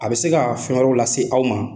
A bɛ se ka fɛn wɛrɛ lase aw ma.